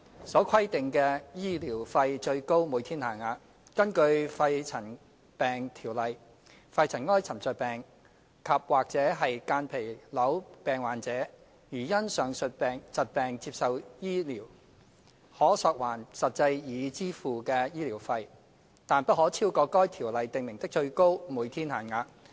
所規定的醫療費最高每天限額。根據《條例》，肺塵埃沉着病及間皮瘤病患者如因上述疾病接受醫治，可索還實際已支付的醫療費，但不可超過《條例》訂明的最高每天限額。